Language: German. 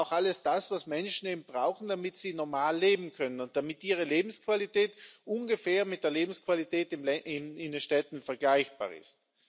Es braucht alles das, was Menschen eben brauchen, damit sie normal leben können und damit ihre Lebensqualität ungefähr mit der Lebensqualität in den Städten vergleichbar ist.